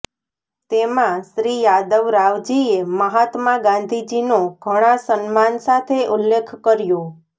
તેમાં શ્રી યાદવરાવજીએ મહાત્મા ગાંધીજીનો ઘણાં સમ્માન સાથે ઉલ્લેખ કર્યો